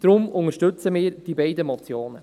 Deshalb unterstützen wir die beiden Motionen.